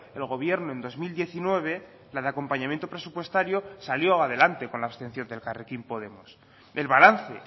el gobierno en dos mil diecinueve la de acompañamiento presupuestario salió adelante con la abstención de elkarrekin podemos el balance